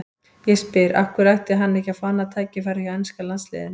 Ég spyr: Af hverju ætti hann ekki að fá annað tækifæri hjá enska landsliðinu?